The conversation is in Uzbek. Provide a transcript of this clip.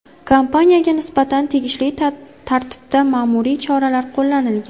Kompaniyaga nisbatan tegishli tartibda ma’muriy choralar qo‘llanilgan.